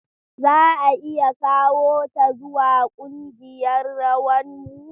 Za a iya kawo ta zuwa ƙungiyarrawan mu?